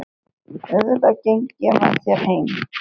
Auðvitað geng ég með þér heim